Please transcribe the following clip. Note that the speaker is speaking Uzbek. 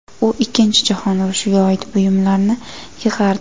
U Ikkinchi jahon urushiga oid buyumlarni yig‘ardi.